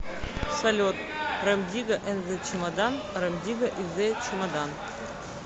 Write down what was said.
салют рем дигга энд зе чемодан рем дигга и зе чемодан